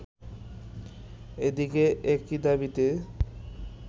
এদিকে একই দাবিতে